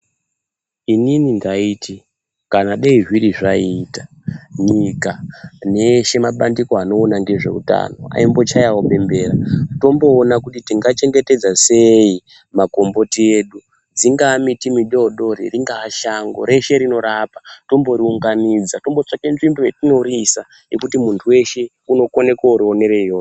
Inini ndaiti kana dei zviri zvaita nyika neeshe mabandiko anoona ngezveutano aimbochayawo bembera tomboona kuti tingachengetedza sei makomboti edu dzingaa miti midodori, ringaa shango reshe rinorapa tomboriunganidza tombotsvake nzvimbo yetinoriisa yekuti muntu weshe unokone korionere iyoyo.